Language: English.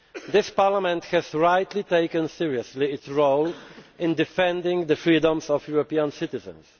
This Parliament has rightly taken seriously its role in defending the freedoms of European citizens.